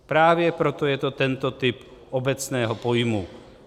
Právě proto je to tento typ obecného pojmu.